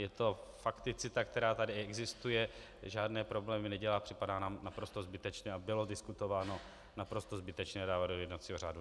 Je to fakticita, která tady existuje, žádné problémy nedělá, připadá nám naprosto zbytečné a bylo diskutováno, naprosto zbytečné dávat do jednacího řádu.